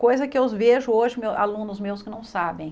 Coisa que eu vejo hoje alunos meus que não sabem.